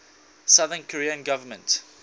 south korean government